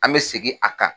An bɛ segin a kan